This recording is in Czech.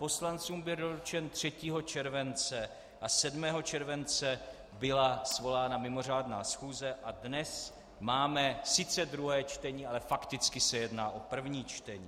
Poslancům byl doručen 3. července a 7. července byla svolána mimořádná schůze a dnes máme sice druhé čtení, ale fakticky se jedná o první čtení.